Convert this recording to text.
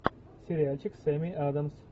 сериальчик с эми адамс